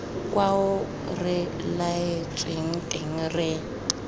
kwao re laetsweng teng re